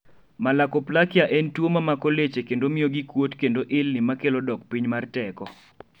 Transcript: Malakoplakia en tuo mamako leche kendo mio gikuot kendo ilni makelo dok piny mar teko